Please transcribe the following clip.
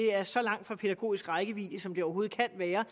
er så langt fra pædagogisk rækkevidde som de overhovedet kan være